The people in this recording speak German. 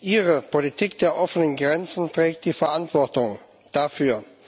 Ihre Politik der offenen Grenzen trägt die Verantwortung dafür.